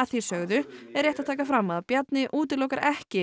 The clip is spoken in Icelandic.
að því sögðu er rétt að taka fram að Bjarni útilokar ekki